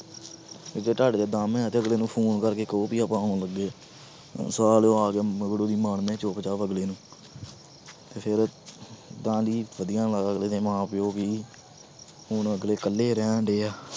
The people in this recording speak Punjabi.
ਵੀ ਜੇ ਤੁਹਾਡੇ 'ਚ ਦਮ ਹੈ ਤੇ ਅਗਲੇ ਨੂੰ phone ਕਰਕੇ ਕਹੋ ਵੀ ਮਾਰਨੇ ਚੁੱਪ ਚਾਪ ਅਗਲੇ ਨੂੰ ਤੇ ਫਿਰ ਤਾਂ ਜੀ ਵਧੀਆ ਵਾ ਅਗਲੇੇ ਦੇ ਮਾਂ ਪਿਓ ਵੀ, ਹੁਣ ਅਗਲੇ ਇਕੱਲੇ ਰਹਿਣਡੇ ਆ।